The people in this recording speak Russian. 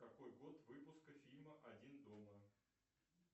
какой год выпуска фильма один дома